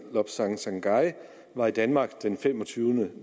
lobsang sangay var i danmark den femogtyvende